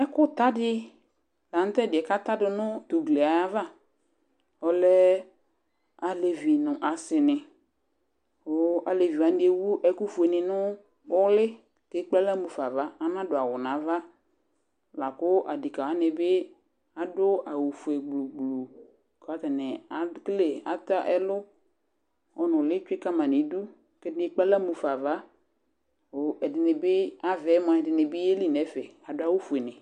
Ɛkʋta dɩ la nʋ tʋ ɛdɩ kʋ ata dʋ nʋ tʋ ugli yɛ ayava Ɔlɛ alevi nʋ asɩnɩ kʋ alevi wanɩ ewu ɛkʋfuenɩ nʋ ʋlɩ kʋ ekple aɣla mu fa ava Anadʋ awʋ nʋ ava la kʋ adekǝ wanɩ bɩ adʋ awʋfue gblu gblu kʋ atanɩ akele ata ɛlʋ, ɔnʋlɩ tsue ka ma nʋ idu kʋ ɛdɩnɩ ekple aɣla mu fa ava kʋ ɛdɩnɩ bɩ, ava yɛ mʋa, ɛdɩnɩ bɩ yeli nʋ ɛfɛ Adʋ awʋfuenɩ